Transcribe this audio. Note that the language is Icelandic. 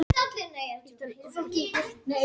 Myndir af slysinu náðust á eftirlitsmyndavél